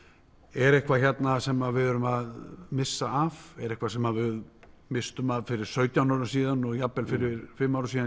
er eitthvað hérna sem við erum að missa af er eitthvað sem við misstum af fyrir sautján árum síðan og jafnvel fyrir fimm árum síðan